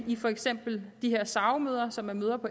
i for eksempel de her sao møder som er møder